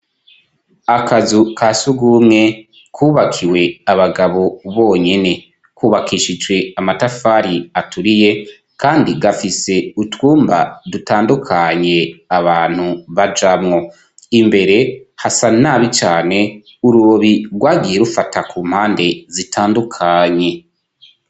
Akazu ka si ugumwe kwubakiwe abagabo bonyene kubakishijwe amatafari aturiye, kandi gafise utwumba dutandukanye abantu bajamwo imbere hasa nabi cane urubobi rwagiye rufata ku mpande zitanduka anye.